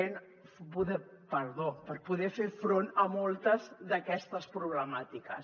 perdó per poder fer front a moltes d’aquestes problemàtiques